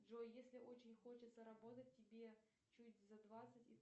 джой если очень хочется работать тебе чуть за двадцать